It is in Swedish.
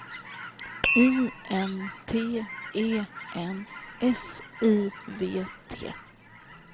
I N T E N S I V T